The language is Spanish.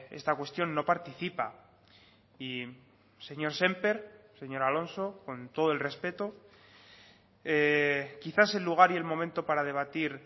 esta cuestión no participa y señor sémper señor alonso con todo el respeto quizás el lugar y el momento para debatir